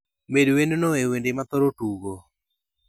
Med wendno e wende ma athoro tugo